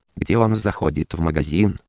где он заходит в магазин